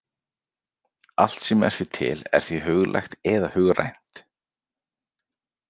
Allt sem er því til er því huglægt eða hugrænt.